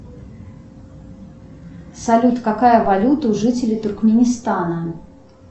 салют какая валюта у жителей туркменистана